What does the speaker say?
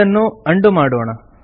ಇದನ್ನು ಉಂಡೋ ಮಾಡೋಣ